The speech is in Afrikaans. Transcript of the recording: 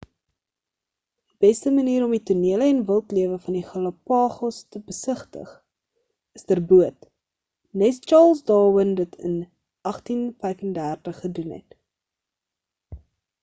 die beste manier om die tonele en wildlewe van die galapagos te besigtig is ter boot nes charles darwin dit in 1835 gedoen het